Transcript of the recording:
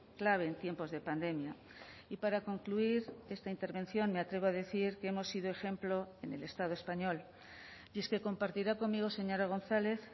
clave en tiempos de pandemia y para concluir esta intervención me atrevo a decir que hemos sido ejemplo en el estado español y es que compartirá conmigo señora gonzález